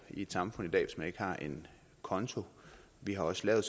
i et samfund i dag hvis man ikke har en konto vi har også lavet